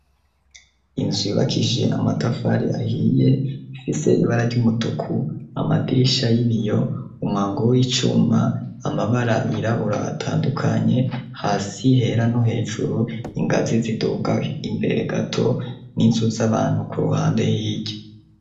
Inzu yubakije amatafari ahiye, ifise ibara ry'umutuku, amadirisha y'ibiyo, umwango w'icuma, amabara yirabura atandukanye hasi hera no hejuru, ingazi ziduga, imbere gato n'inzu z'abantu ku ruhande hirya.